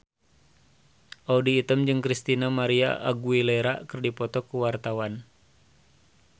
Audy Item jeung Christina María Aguilera keur dipoto ku wartawan